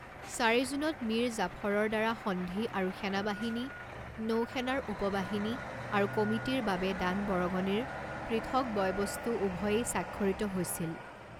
চাৰি জুনত মিৰ জাফৰৰদ্বাৰা সন্ধি আৰু সেনাবাহিনী নৌ সেনাৰ উপবাহিনী আৰু কমিটীৰ বাবে দান বৰঙণিৰ পৃথক বয় বস্তু উভয়েই স্বাক্ষৰিত হৈছিল।